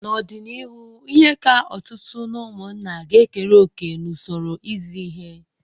N'ọdịnihu, ihe ka ọtụtụ n'ụmụnna ga ekere òkè n'usoro izi ihe.